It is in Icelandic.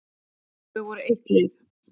Þau voru eitt lið.